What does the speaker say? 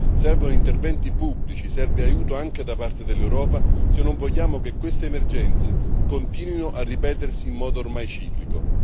Servono interventi pubblici e serve anche l'aiuto dell'Europa se non vogliamo che queste emergenze continuino a ripetersi in modo ormai ciclico.